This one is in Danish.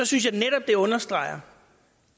synes jeg netop det understreger